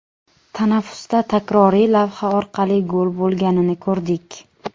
Tanaffusda takroriy lavha orqali gol bo‘lganini ko‘rdik.